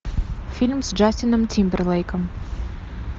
фильм с джастином тимберлейком